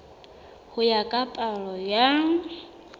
ho ya ka palo ya